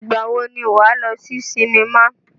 Ìgbà wo ni wà á lọ sí sinimá?